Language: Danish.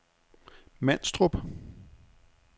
Manstrup